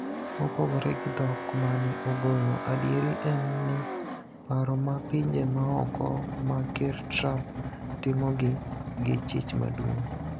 Mopogore gi dhok mane ogolo, adieri en ni paro ma pinje maoko ma ker Trumpitimogi gi chich maduong'